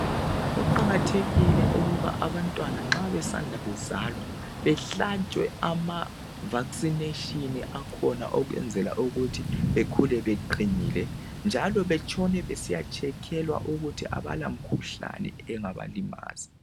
Kuqakathekile ukuba abantwana nxa besanda kuzalwa bahlatshwe amavaccination akhona ukwenzela ukuthi bekhule beqinile njalo betshone besiyatshekhelwa ukuthi abalamkhuhlane engabalimaza.